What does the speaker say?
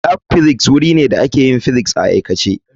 Lab Physics wuri ne da ake yin physics a aikace.